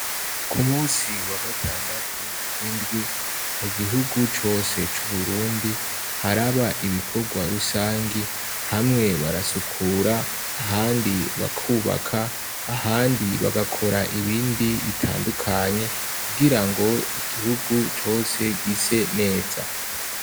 Ku munsi wa gatandatu w'indwi mu gihugu cose c’uburundi haraba ibikorwa rusangi hamwe barasukura ahandi bakubaka ahandi bagakora ibindi bitandukanye kugirango igihugu cose gise neza.